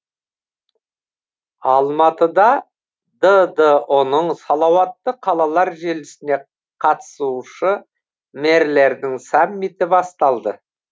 алматыда ддұ ның салауатты қалалар желісіне қатысушы мэрлердің саммиті басталды